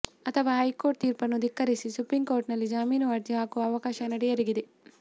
ಅಥವಾ ಹೈಕೋರ್ಟ್ ತೀರ್ಪನ್ನು ಧಿಕ್ಕರಿಸಿ ಸುಪ್ರೀಂಕೋರ್ಟ್ನಲ್ಲಿ ಜಾಮೀನಿಗೆ ಅರ್ಜಿ ಹಾಕುವ ಅವಕಾಶ ನಟಿಯರಿಗಿದೆ